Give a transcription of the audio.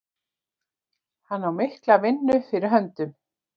Hann á mikla vinnu fyrir höndum.